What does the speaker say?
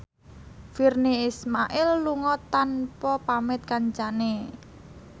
Virnie Ismail lunga tanpa pamit kancane